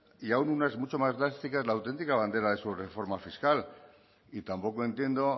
y aun unas mucho más drásticas la autentica bandera de su reforma fiscal y tampoco entiendo